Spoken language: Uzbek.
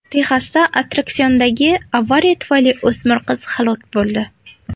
Texasda attraksiondagi avariya tufayli o‘smir qiz halok bo‘ldi.